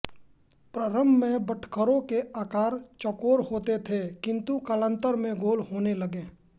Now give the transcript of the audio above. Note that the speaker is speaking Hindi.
प्रारंभ में बटखरों के आकार चौकोर होते थे किंतु कालांतर में गोल होने लगे